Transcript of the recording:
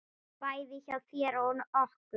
Bæði hjá þér og okkur.